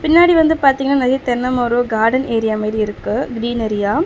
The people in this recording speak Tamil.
பின்னாடி வந்து பாத்தீங்னா நெறைய தென்ன மரோ கார்டன் ஏரியா மாரி இருக்கு கிரீனெரியா .